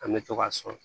An bɛ to k'a sɔn